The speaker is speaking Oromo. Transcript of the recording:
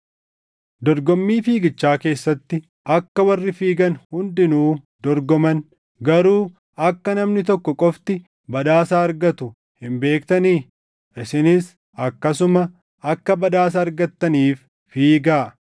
Dorgommii fiigichaa keessatti akka warri fiigan hundinuu dorgoman, garuu akka namni tokko qofti badhaasa argatu hin beektanii? Isinis akkasuma akka badhaasa argattaniif fiigaa!